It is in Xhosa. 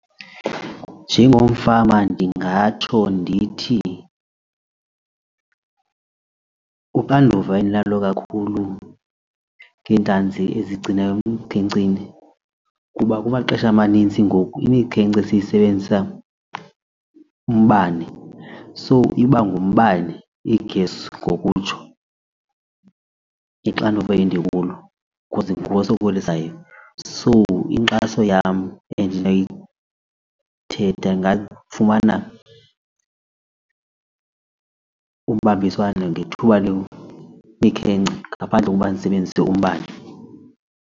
Njengomfama ndingatsho ndithi uxanduva endinalo kakhulu ngeentlanzi ezigcina emkhenkceni kuba kumaxesha amanintsi ngoku imikhence seyisebenzisa umbane, so iba ngumbane iigesi ngokutsho ixanduva indikulo cause nguwo osokolisayo. So inkxaso yam endinoyithetha ndingafumana ubambiswano ngethuba lomikhence ngaphandle kokuba ndisebenzise umbane.